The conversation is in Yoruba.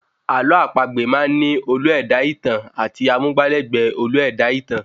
Àlọ́ àpagbè máá ń ní olú-ẹ̀dá-ìtàn àti amúgbálẹ̀gbẹ́ olú-ẹ̀dá-ìtàn